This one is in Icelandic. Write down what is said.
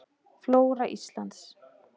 Flóra Íslands.